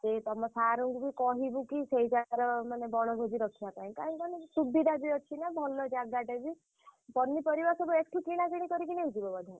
ସେଇ ତମ sir ଙ୍କୁ ବି କହିବୁ କି ସେଇ ଜାଗାର ମାନେ ବଣଭୋଜି ରଖିଆ ପାଇଁ କାହିଁକି କହନି ସୁବିଧା ବି ଅଛିନା ଭଲ ଜାଗାଟେ ବି। ପନିପରିବା ସବୁ ଏଠୁ କିଣାକିଣି କରିକି ନେଇଯିବ ବୋଧେ?